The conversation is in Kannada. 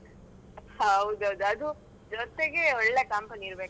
ಹೌದೌದು ಅದು ಜೊತೆಗೆ ಒಳ್ಳೆ company ಇರ್ಬೇಕು ಆಯ್ತಾ.